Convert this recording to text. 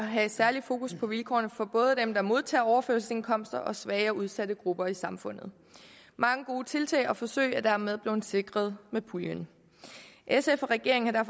have et særligt fokus på vilkårene for både dem der modtager overførselsindkomster og svage og udsatte grupper i samfundet mange gode tiltag og forsøg er dermed blevet sikret med puljen sf og regeringen har